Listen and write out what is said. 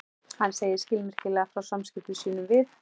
Hann segir skilmerkilega frá samskiptum sínum við